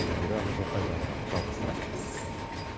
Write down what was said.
индира жылқыайдарова жалғастырады